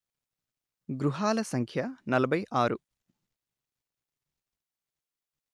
గృహాల సంఖ్య నలభై ఆరు